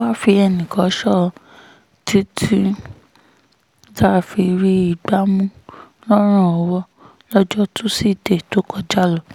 a wáá fi ẹnìkan sọ ọ́ títí tá a fi rí i gbá mú lọ́rùn ọwọ́ lọ́jọ́ tusidee tó kọjá